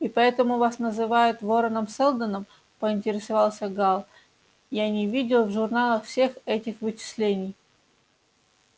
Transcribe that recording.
и поэтому вас называют вороном-сэлдоном поинтересовался гаал я не видел в журналах всех этих вычислений